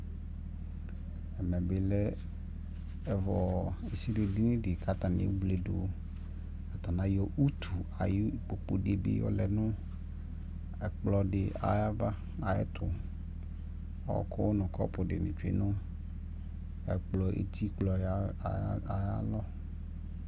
ɛmɛ bi lɛ ɛvɔɔ ɛsili dinidi kʋ atani ɛwlɛ dʋ, atani ayɔ ʋtʋ ayʋ ikpɔkʋ dibi yɔlɛ nʋ ɛkplɔ di ayi aɣa ayɛtʋ, ɔkʋdi nʋ kɔpʋ dini twɛ nʋ ɛkplɔ ʋtikplɔɛ aɣa